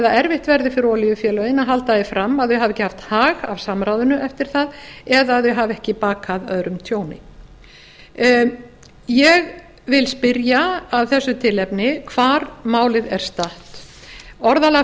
erfitt verði fyrir olíufélögin að halda því fram að þau hafi ekki haft hag af samráðinu eftir það eða að þau hafi ekki bakað öðrum tjón ég vil spyrja af þessu tilefni hvar málið er statt orðalag